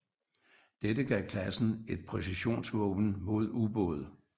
Dette gav klassen et præcisionsvåben mod ubåde